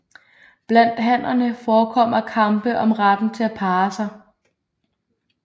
Blandt hannerne forekommer kampe om retten til at parre sig